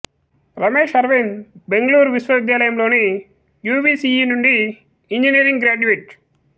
రమేష్ అరవింద్ బెంగుళూరు విశ్వవిద్యాలయంలోని యువిసిఇ నుండి engineering graduate